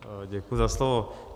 Děkuji za slovo.